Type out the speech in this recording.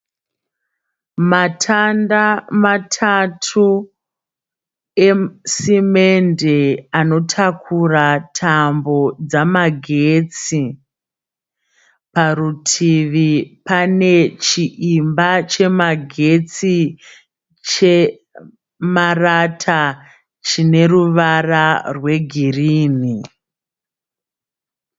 Matanda matatu esimende anotakura tambo dzamagetsi. Parutivi pane chiimba chemagetsi chemarata chine ruvara rwegirini.